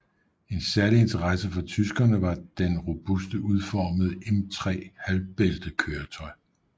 Af særlig interesse for tyskerne var den robust udformede M3 halvbæltekøretøj